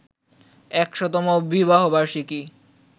১০০তম বিবাহবার্ষিকী